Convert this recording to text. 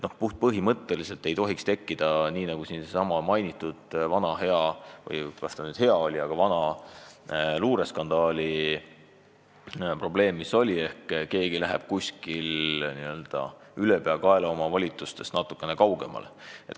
Põhimõtteliselt ei tohiks tekkida, nagu siin sai mainitud, sellesama vana hea – või kas ta nüüd ikka hea oli – luureskandaali probleem, et keegi kuskil ülepeakaela oma volitusi natukene ületab.